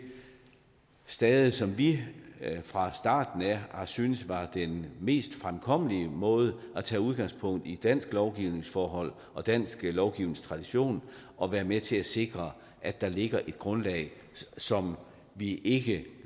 stade som vi fra starten af har syntes var den mest fremkommelige måde nemlig at tage udgangspunkt i danske lovgivningsforhold og dansk lovgivningstradition og være med til at sikre at der ligger et grundlag som vi ikke